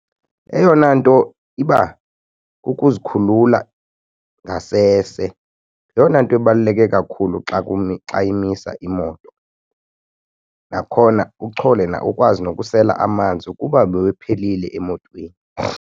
Eyona nto iba kukuzikhulula ngasese, yeyona nto ibaluleke kakhulu xa xa imisa imoto. Nakhona uchole ukwazi nokusela amanzi ukuba bewephelile emotweni.